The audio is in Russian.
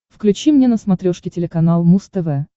включи мне на смотрешке телеканал муз тв